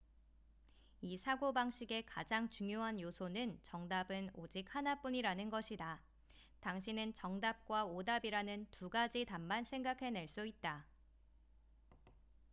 이 사고방식의 가장 중요한 요소는 정답은 오직 하나뿐이라는 것이다 당신은 정답과 오답이라는 두 가지 답만 생각해낼 수 있다